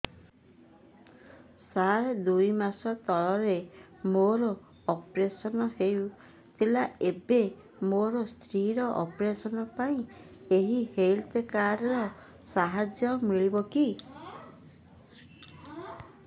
ସାର ଦୁଇ ମାସ ତଳରେ ମୋର ଅପେରସନ ହୈ ଥିଲା ଏବେ ମୋ ସ୍ତ୍ରୀ ର ଅପେରସନ ପାଇଁ ଏହି ହେଲ୍ଥ କାର୍ଡ ର ସାହାଯ୍ୟ ମିଳିବ କି